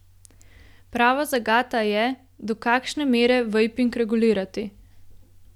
Prava zagata je, do kakšne mere vejping regulirati.